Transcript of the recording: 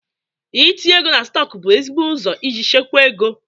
I tinye ego na stọk bụ ezigbo ụzọ iji chekwa ego.